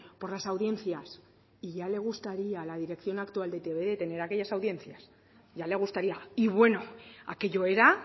por las audiencias y ya le gustaría a la dirección actual de e i te be tener aquellas audiencias ya le gustaría y bueno aquello era